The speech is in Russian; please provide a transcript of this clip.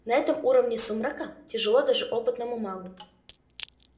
на этом уровне сумрака тяжело даже опытному магу